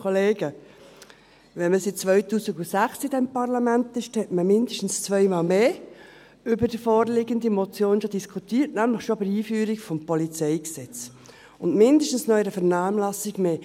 Wenn man seit 2006 in diesem Parlament ist, hat man mindestens zweimal mehr über die vorliegende Motion diskutiert, nämlich schon bei der Einführung des PolG und mindestens noch in einer Vernehmlassung mehr.